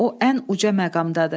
O ən uca məqamdadır.